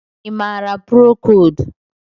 Ị maara prokold?